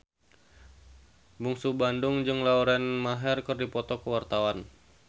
Bungsu Bandung jeung Lauren Maher keur dipoto ku wartawan